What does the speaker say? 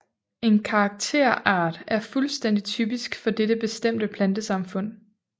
En karakterart er fuldstændig typisk for dette bestemte plantesamfund